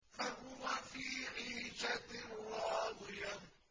فَهُوَ فِي عِيشَةٍ رَّاضِيَةٍ